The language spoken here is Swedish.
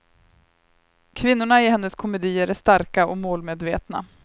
Kvinnorna i hennes komedier är starka och målmedvetna.